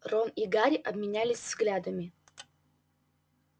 рон и гарри обменялись взглядами